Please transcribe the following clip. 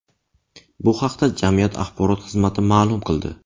Bu haqda jamiyat axborot xizmati ma’lum qildi .